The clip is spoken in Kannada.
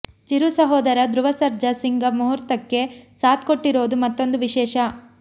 ಚಿರು ಸಹೋದರ ಧ್ರುವ ಸರ್ಜಾ ಸಿಂಗ ಮುಹೂರ್ತಕ್ಕೆ ಸಾಥ್ ಕೊಟ್ಟಿರೋದು ಮತ್ತೊಂದು ವಿಶೇಷ